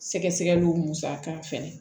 Sɛgɛsɛgɛliw musaka fɛnɛ